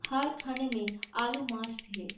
हर खाने में आलू मस्ट है।